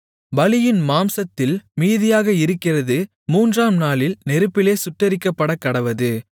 பலியின் மாம்சத்தில் மீதியாக இருக்கிறது மூன்றாம் நாளில் நெருப்பிலே சுட்டெரிக்கப்படக்கடவது